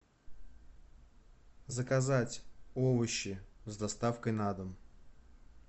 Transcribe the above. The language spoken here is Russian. заказать овощи с доставкой на дом